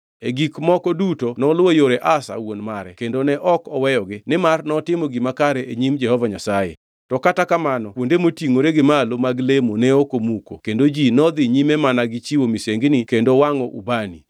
E gik moko duto noluwo yore Asa wuon mare kendo ne ok oweyogi, nimar notimo gima kare e nyim Jehova Nyasaye. To kata kamano kuonde motingʼore gi malo mag lemo ne ok omuki kendo ji nodhi nyime mana gi chiwo misengini kendo wangʼo ubani.